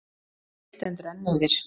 Leit stendur enn yfir.